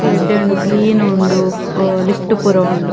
ಮಸ್ತ್ ಎಡ್ಡೆ ಉಂಡು ಕ್ಲೀನ್ ಉಂಡು ಅಹ್ ಲಿಫ್ಟ್ ಪೂರ ಉಂಡು.